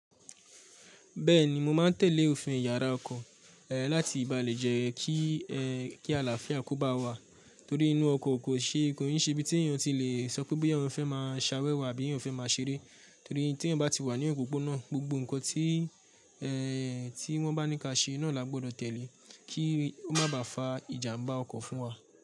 Bẹ́ẹ̀ni, mo ma n tèlé òfin iyàrá ọkọ̀, éè làti ìbálèjé kí é è kí àlàáfíà kò bá wà torí inú ọkọ̀ kò ṣe, kò ní ṣe ibi tí èyàn ti lè sọ pé boya èyàn fẹ́ má a ṣawẹ́wà àbí èyàn fẹ́ má a ṣeré torí tí èyàn bá ti wà ní òpópónà gbogbo ǹkan tí èè tí wọ́n bá ní ká ṣe náa là gbọ́dọ̀ tèlé kí ó má bà fa ìjàmbá ọkọ̀ fún wa.